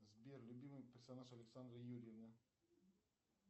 сбер любимый персонаж александры юрьевны